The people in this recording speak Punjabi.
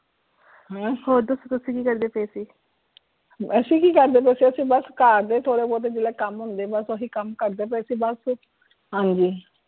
ਬਸ ਹੋਰ ਦੱਸੋ ਤੁਸੀਂ ਕੀ ਕਰਦੇ ਪਏ ਸੀ?